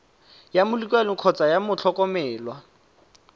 ya molekane kgotsa ya motlhokomelwa